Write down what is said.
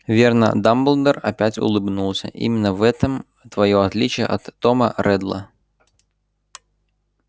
верно дамблдор опять улыбнулся именно в этом твоё отличие от тома реддла